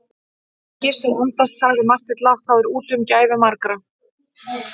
Ef Gizur andast, sagði Marteinn lágt,-þá er úti um gæfu margra.